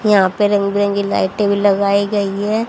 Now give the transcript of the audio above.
यहां पे रंग बिरंगी लाइटे भी लगाई गई है।